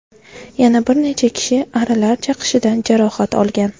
Yana bir necha kishi arilar chaqishidan jarohat olgan.